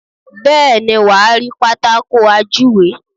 Bẹ́ẹ̀ni, wàá rí Pátákó ajúwe.